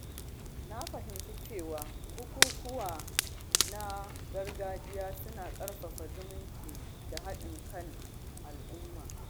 Na fahimci cewa bukukuwa na gargajiya suna ƙarfafa zumunci da haɗin kan al’umma.